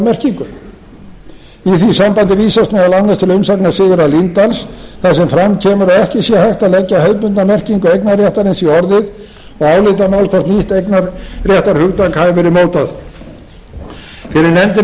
merkingu í því sambandi vísast meðal annars til umsagnar sigurðar líndal þar sem fram kemur að ekki sé hægt að leggja hefðbundna merkingu eignarréttarins í orðið og álitamál hvort nýtt eignarréttarhugtak hafi verið mótað fyrir nefndinni bendi